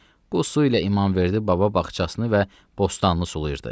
Bu su ilə İmamverdi baba bağçasını və bostanını sulayırdı.